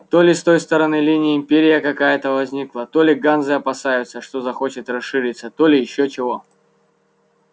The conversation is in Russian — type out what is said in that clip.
то ли с той стороны линии империя какая-то возникла то ли ганзы опасаются что захочет расшириться то ли ещё чего